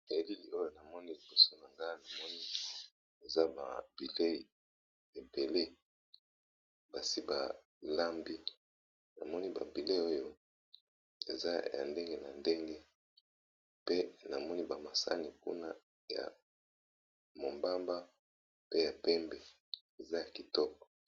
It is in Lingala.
Elili oyo namoni liboso na nga namoni eza ba bileyi ebele basi balambi, namoni ba bileyi oyo eza ya ndenge na ndenge pe namoni ba masani nkuna ya mombamba pe ya pembe eza ya kitoko.